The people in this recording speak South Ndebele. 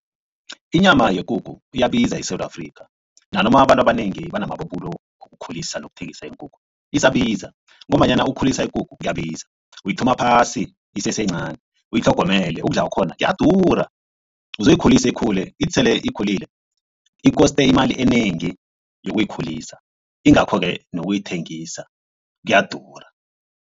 Inyama yekukhu iyabiza eSewula Afrika nanoma abantu abanengi banamabubulo wokukhulisa nokuthengisa iinkukhu isabiza ngombanyana ukhulisa ikukhu kuyabiza uyithoma phasi iseseyincani uyitlhogomele ukudla kwakhona kuyadura uzoyikhulisa ikhule ithi sele ikhulile ikoste imali enengi yokuyikhulisa ingakho-ke nokuyithengisa kuyadura.